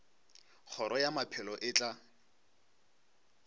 kgoro ya maphelo e tla